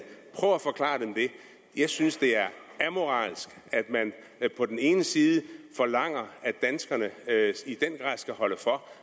prøv at forklare dem det jeg synes det er amoralsk at man på den ene side forlanger at danskerne i den grad skal holde for